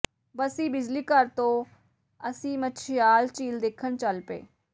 ਬੱਸੀ ਬਿਜਲੀਘਰ ਤੋਂ ਅਸੀਂ ਮਛਿਆਲ ਝੀਲ ਦੇਖਣ ਚੱਲ ਪਏ